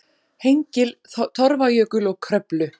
Hengil, Torfajökul og Kröflu.